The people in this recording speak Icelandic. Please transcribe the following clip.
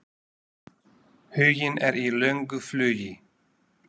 Huginn er í löngu flugi.